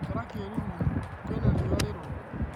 Ikara kĩruruinĩ, kwĩna riũa rĩrũrũ